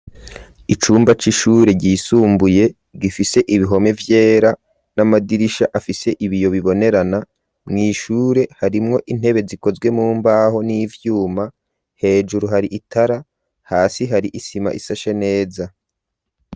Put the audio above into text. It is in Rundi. Icumba c'ishure ryisumbuye gifise ibihome vyera n'amadirisha afise ibiyo bibonerana, mw'ishure harimwo intebe zikozwe mumbaho n'ivyuma hejuru hari itara, hasi hari isima ishashe neza.